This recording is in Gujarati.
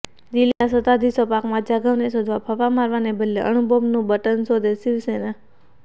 દિલ્હીના સત્તાધીશો પાકમાં જાધવને શોધવા ફાંફા મારવાને બદલે અણુબોમ્બનું બટન શોધેઃ શિવસેના